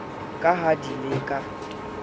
ka ha di le ka